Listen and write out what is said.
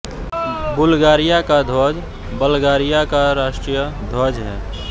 Bulgaria का ध्वज Bulgaria का राष्ट्रीय ध्वज है